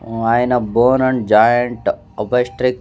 ఆయన bone and joint obstetric --